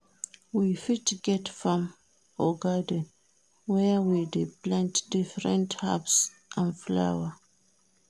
We fit get farm or garden where we dey plant different herbs and flower